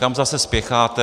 Kam zase spěcháte?